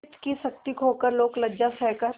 चित्त की शक्ति खोकर लोकलज्जा सहकर